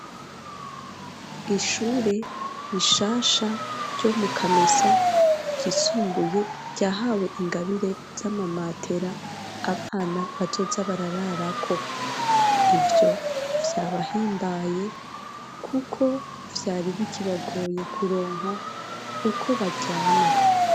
Ishure rishasha ryo mu kamesa ryisumbuye ryahawe ingabire z'amamatera abana bazoza bararara ko ivyo vyabahimbaye kuko vyari biki bagoye kuronka uko baryama.